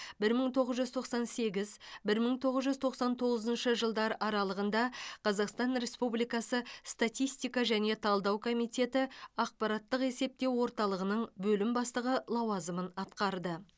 бір мың тоғыз жүз тоқсан сегіз бір мың тоғыз жүз тоқсан тоғызыншы жылдар аралығында қазақстан республикасы статистика және талдау комитеті ақпараттық есептеу орталығының бөлім бастығы лауазымын атқарды